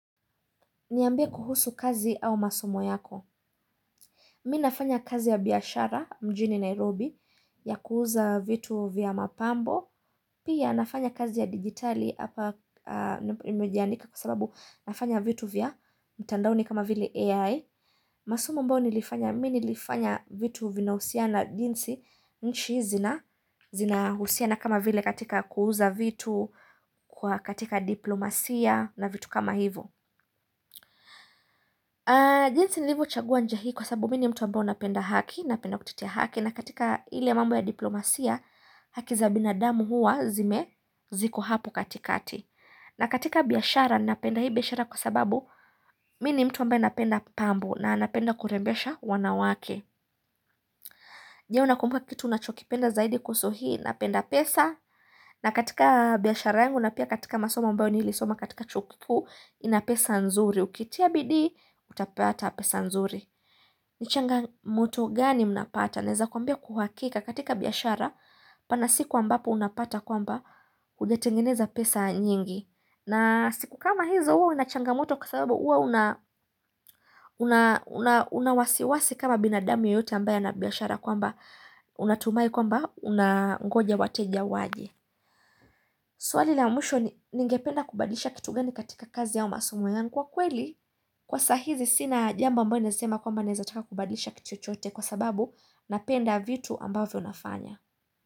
Niambia kuhusu kazi au masomo yako. Mi nafanya kazi ya biyashara mjini Nairobi ya kuhuza vitu vya mapambo. Pia nafanya kazi ya digitali hapa nimejiadnika kwa sababu nafanya vitu vya mtandaoni kama vile AI. Masomo ambayo nilifanya, mimi nilifanya vitu vinahusiana jinsi nchi zinahusiana kama vile katika kuuza vitu, katika diplomasia na vitu kama hivo. Jinsi nilivochagua njia hii kwa sababu mimi ni mtu ambaye napenda haki, napenda kutetea haki na katika ile mambo ya diplomasia, haki za binadamu huwa zime ziko hapo katikati na katika biashara, napenda hii biashara kwa sababu mimi ni mtu ambaye napenda pambo na napenda kurembesha wanawake Je unakumbuka kitu unachokipenda zaidi kuhusu hii, napenda pesa na katika biashara yangu, na pia katika masomo ambao nilisoma katika chuo kikuu, ina pesa nzuri Ukitia bidii, utapata pesa nzuri ni changamoto gani mnapata? Naeza kwambia kwa uhakika katika biashara pana siku ambapo unapata kwamba hujatengeneza pesa nyingi. Na siku kama hizo huwa una changamoto kwa sababu huwa una unawasiwasi kama binadami yeyote ambaye ana biashara kwamba unatumai kwamba unangoja wateja waje. Swali la mwisho ni ningependa kubadlisha kitu gani katika kazi au masomo yangu kwa kweli Kwa sahizi sina jambo ambalo nasema kwamba naezataka kubadlisha kitu chochote Kwa sababu napenda vitu ambavyo nafanya.